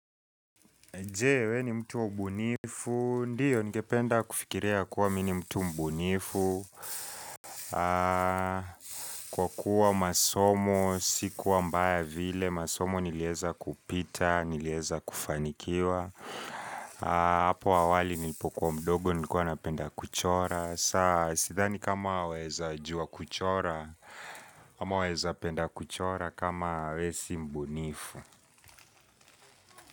Jee, we ni mtu wa ubunifu. Ndiyo, ningependa kufikiria ya kuwa mimi ni mtu mbunifu. Kwa kuwa masomo, si kuwa mbaya vile. Masomo nilieza kupita, nilieza kufanikiwa. Apo awali nilipokuwa mdogo nikuwa napenda kuchora. Saa, sithani kama waeza jua kuchora, ama waeza penda kuchora kama wewe si mbunifu.